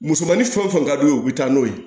Musomanin fɛn o fɛn ka d'u ye u bɛ taa n'o ye